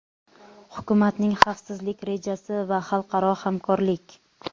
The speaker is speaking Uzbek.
hukumatning xavfsizlik rejasi va xalqaro hamkorlik.